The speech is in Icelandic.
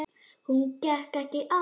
Hún gekk ekki aftur.